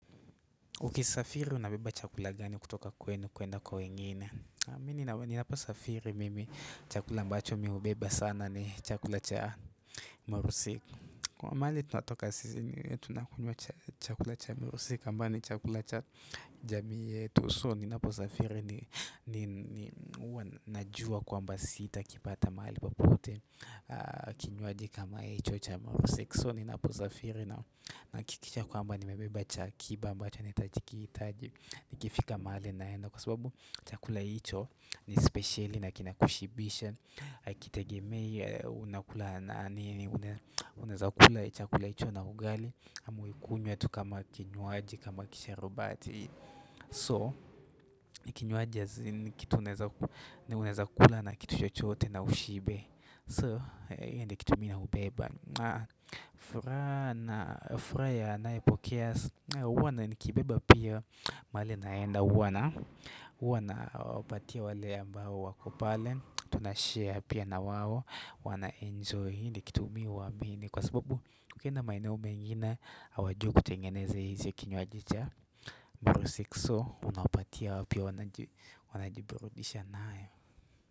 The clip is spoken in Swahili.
Ukisafiri unabeba chakula gani kutoka kwenu kuenda kwa wengine Mimi ninaposafiri mimi chakula ambacho miubeba sana ni chakula cha marusik Kwa maali tunatoka sisi tunakunywa chakula cha marusik Kambani chakula cha jami yetu So ninaposafiri nijua kwamba sita kipata maali papote kinywaji kama chocha mursik so ni naposafiri na kikisha kwamba ni mebeba chakiba mba chanitajikitaji nikifika mahali naendo kwa sababu chakula icho ini speciali na kinakushibisha kitegemei naeza kula chakula ito na ugali amuikunye tu kama kinywaji kama kisharubati so kinywaji ya zini kitu unakula na kitu chochoote na ushibe so hende kitu mina ubeba furaha anae pokea wana nikibiba pia mali naenda wana wana wapatia wale ambao wako pale Tunashare pia na wawo wana enjoy hindi kitumiwa mini Kwa sababu kukenda maineo mengine hawajui tengeneze hizi ya kinywaj cha Mburu 6o unapatia wapia wanajibirudisha nae.